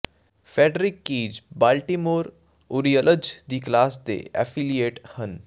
Frederick Keys Baltimore Orioles ਦੀ class A affiliate ਹਨ